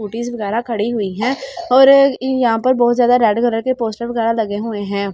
कूटीस वगैरह खड़ी हुई है और यहाँ पर बहुत जादा रेड कलर के पोस्टर वगैरह लगे हुए है ।